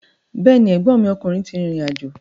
Bẹ́ẹ̀ni, ẹ̀gbọ́nmi ọkùnrin ti rìrìn àjò.